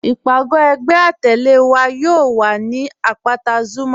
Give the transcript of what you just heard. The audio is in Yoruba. Ìpagò ẹgbẹ̀ àtẹle wa yóò wà ni apátà Zuma.